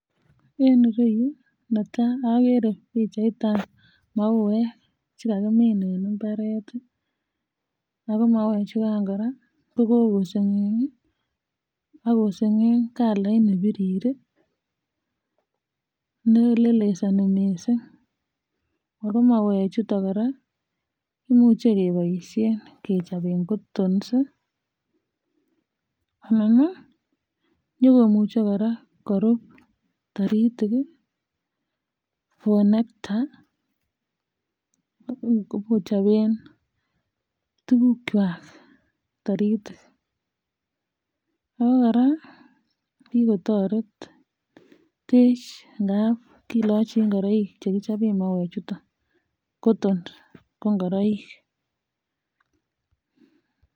En irou neta agere pichaitab mauek che kakimin en ibaret ii ago mauek chukan koraa kokosengek ii ak kosengek kalait nebirir ne lelesani miisik ago mauek chuton koraa imuche keboishen kechoben cottons anan ii nyikomuche koraa korub taritik for nectar um kobu koichopen tugukwak taritik ago koraa kii kotoretech ikap kilochi ingoroik chekichop mauek chuton cotton ko ingoroik.